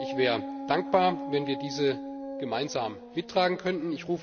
Ich wäre dankbar, wenn wir sie gemeinsam mittragen könnten.